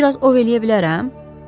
Bir az ov eləyə bilərəm?